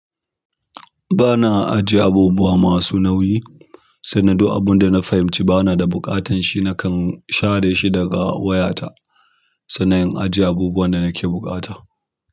Ba na ajiye abubuwa masu nauyi, sannan duk abin da na fahimci ba na da buƙatar shi nakan share shi daga wayata sannan in ajiye abubuwan da nake buƙata.